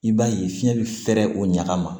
I b'a ye fiɲɛ bɛ fɛɛrɛ o ɲaga ma